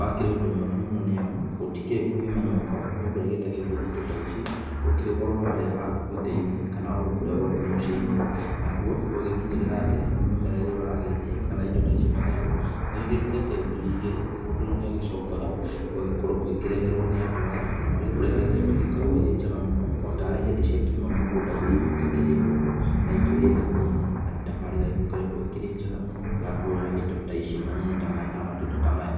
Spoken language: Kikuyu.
wakĩrĩ ũndũ mwega mũno nĩ amu, gũtikĩrĩ gũkiuma nyũmba, mũndũ agĩtagĩria indo ta ici ũkĩrĩ o harĩa haku gĩtĩ-inĩ kana o ro kũrĩa gwaku mũciĩ-inĩ, nakuo gwagĩkinyĩrĩra atĩ mĩmera ĩrĩa ũragĩtia kana indo ta ici matharũ, nĩ igĩkĩrĩte ngiri igĩrĩ, mũndũ rĩu nĩ agĩcokaga ũgagĩkorwo ũgĩkĩreherwo nĩ andũ aya na magĩkũrehagĩra indo igĩkoragwo irĩ njega mũno, o ta rĩ hĩndĩ ciakiuma mũgũnda-inĩ itakĩrĩ hohu na ikĩrĩ theru mũno. Na nĩ tabarĩra ĩgĩkoretwo ĩkĩrĩ njega mũno ya kuoya indo ta ici manyeni ta maya kana matunda ta maya.